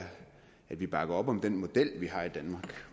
at vi bakker op om den model vi har i danmark